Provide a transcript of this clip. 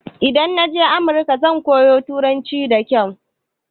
Idan naje America zan koyo turanci da kyau